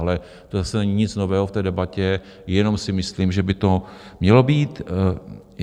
Ale to zase není nic nového v té debatě, jenom si myslím, že by to mělo být.